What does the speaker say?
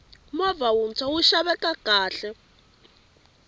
movha wuntshwa wu xaveka kahle